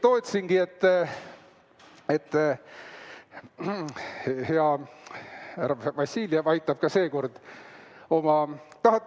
Ma ootasingi, et kas hea härra Vassiljev aitab ka seekord oma fraktsiooni.